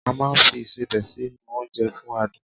A máà ń fi Ìṣebẹ̀ sí nu oúnjẹ fún adùn